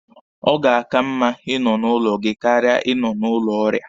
Ọ ga-aka mma Ị nọ n'ụlọ gị karịa Ị nọ n'ụlọ ọrịa.